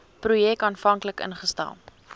projek aanvanklik ingestel